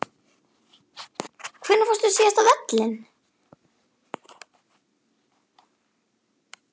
Hvenær fórstu síðast á völlinn?